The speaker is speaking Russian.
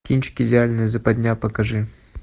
кинчик идеальная западня покажи